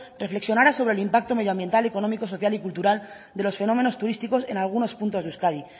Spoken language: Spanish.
reflexionara sobre el impacto medioambiental económico social y cultural de los fenómenos turísticos en algunos puntos de euskadi